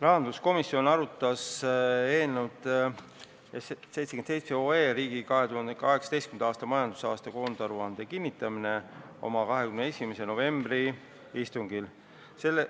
Rahanduskomisjon arutas eelnõu "Riigi 2018. aasta majandusaasta koondaruande kinnitamine" oma 21. novembri istungil.